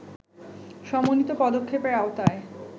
সমন্বিত পদক্ষেপের আওতায়